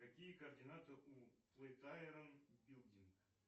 какие координаты у плейтайрон билдинг